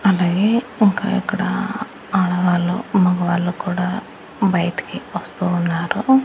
అలాగే ఇంకా ఇక్కడ ఆడవాళ్లు మొగవాళ్ళు కూడా బయటికి వస్తూ ఉన్నారు.